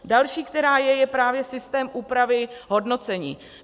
Další, která je, je právě systém úpravy hodnocení.